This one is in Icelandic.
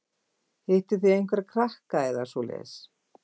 Hittuð þið einhverja krakka eða svoleiðis?